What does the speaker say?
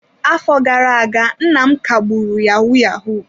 Afọ gara aga, nna m kagburu yahoo yahoo.